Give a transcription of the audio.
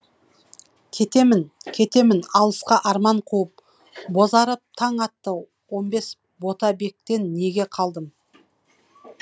кетемін кетемін алысқа арман қуып бозарып таң атты он бес ботабектен неге қалдым